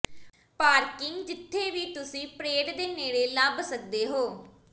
parking ਜਿੱਥੇ ਵੀ ਤੁਸੀਂ ਪਰੇਡ ਦੇ ਨੇੜੇ ਲੱਭ ਸਕਦੇ ਹੋ